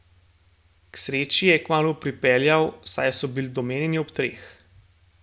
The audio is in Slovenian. K sreči je kmalu pripeljal, saj so bili domenjeni ob treh.